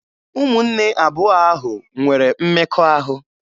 Ụmụnne abụọ ahụ nwere mmekọahụ.